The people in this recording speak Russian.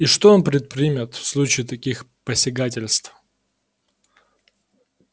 и что он предпримет в случае таких посягательств